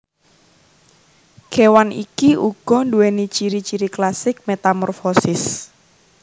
Kewan iki uga duwéni ciri ciri klasik metamorfosis